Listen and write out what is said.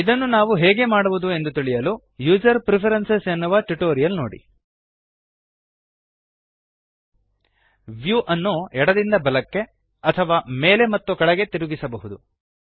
ಇದನ್ನು ಹೇಗೆ ಮಾಡಬೇಕು ಎಂದು ತಿಳಿಯಲು ಯುಸರ್ ಪ್ರೆಫರೆನ್ಸಸ್ ಎನ್ನುವ ಟ್ಯುಟೋರಿಯಲ್ ನೊಡಿltpgt ವ್ಯೂ ಅನ್ನು ಎಡದಿಂದ ಬಲಕ್ಕೆ ಅಥವಾ ಮೇಲೆ ಮತ್ತು ಕೆಳಗೆ ತಿರುಗಿಸಬಹುದು